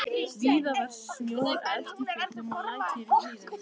Víða var snjór efst í fjöllum og lækir í hlíðum.